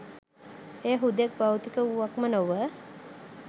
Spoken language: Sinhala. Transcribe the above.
එය හුදෙක් භෞතික වූවක්ම නොව